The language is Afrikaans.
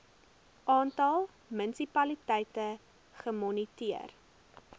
aantal munisipaliteite gemoniteer